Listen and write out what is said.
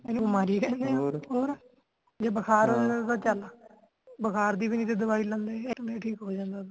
ਇਹਨੂੰ ਬਿਮਾਰੀ ਕਹਿੰਦੇ ਆ (overlap) ਹੋਰ ਜੇ ਬੁਖ਼ਾਰ ਤਾ ਚਾਲ ਬੁਖਾਰ ਦੀ ਵੀ ਨੀ ਸੀ ਦਵਾਈ ਲੈਂਦੇ ਐਕਰੇ ਠੀਕ ਹੋ ਜਾਂਦਾ ਹੁੰਦਾ